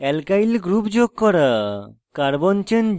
alkyl groups যুক্ত করা